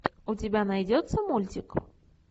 у тебя найдется мультик